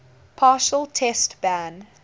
partial test ban